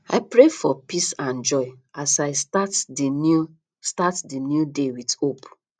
i pray for peace and joy as i start di new start di new day with hope